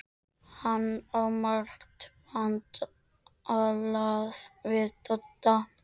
Hann á margt vantalað við Dodda.